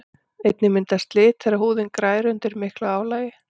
einnig myndast slit þegar húðin grær undir miklu álagi